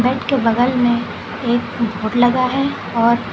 bed के बगल में एक बोड लगा है और--